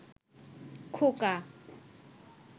খোকা